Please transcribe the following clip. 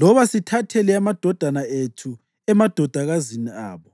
loba sithathele amadodana ethu amadodakazi abo.